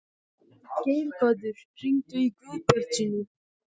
Geirhvatur, hringdu í Guðbjartsínu.